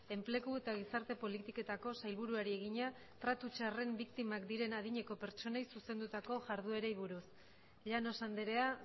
enplegu eta gizarte politiketako sailburuari egina tratu txarren biktimak diren adineko pertsonei zuzendutako jardunei buruz llanos andrea